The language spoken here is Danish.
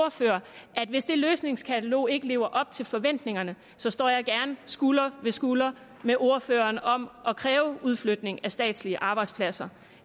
ordfører at hvis det løsningskatalog ikke lever op til forventningerne står jeg gerne skulder ved skulder med ordføreren om at kræve udflytning af statslige arbejdspladser